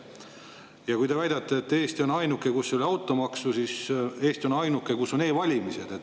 Ja kui te väidate, et Eesti on ainuke, kus ei ole automaksu, siis Eesti on ka ainuke, kus on e-valimised.